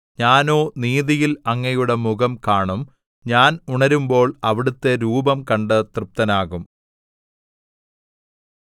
ഞാനോ നീതിയിൽ അങ്ങയുടെ മുഖംകാണും ഞാൻ ഉണരുമ്പോൾ അവിടുത്തെ രൂപം കണ്ട് തൃപ്തനാകും